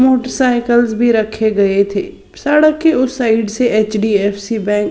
motorcycles भीं रखें गए थे सड़क के उस साइड से एच_डी_एफ_सी बँक --